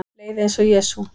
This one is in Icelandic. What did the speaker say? Leið eins og Jesú